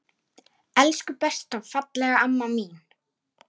Elsku besta fallega amma mín.